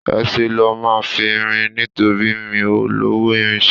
Ẹsẹ̀ lo máa fi rìn nítorí mi ò lọ́wó ìrìnà